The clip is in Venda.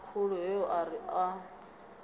khulu heyo a ri a